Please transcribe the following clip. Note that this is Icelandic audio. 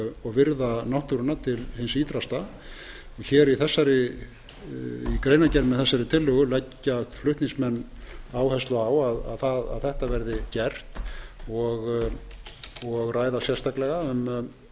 og virða náttúruna til hins ýtrasta í greinargerð með tillögunni leggja flutningsmenn áherslu á að þetta verði gert og ræða sérstaklega um